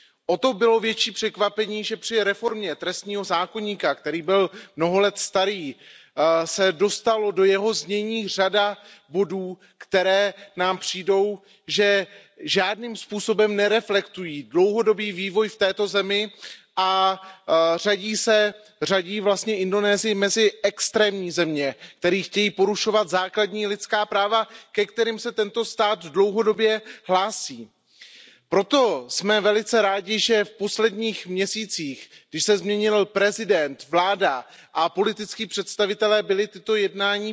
O to bylo větší překvapení, že při reformě trestního zákoníku, který byl mnoho let starý, se dostala do jeho znění řada bodů, které nám přijdou, že žádným způsobem nereflektují dlouhodobý vývoj v této zemi a řadí vlastně Indonésii mezi extrémní země, které chtějí porušovat základní lidská práva, ke kterým se tento stát dlouhodobě hlásí. Proto jsme velice rádi, že v posledních měsících, když se změnili prezident, vláda a političtí představitelé, byla tato jednání